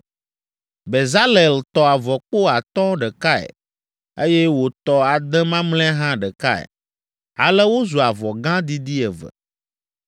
Bezalel tɔ avɔkpo atɔ̃ ɖekae, eye wòtɔ ade mamlɛa hã ɖekae, ale wozu avɔ gã didi eve.